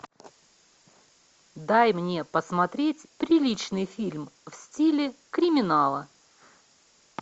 дай мне посмотреть приличный фильм в стиле криминала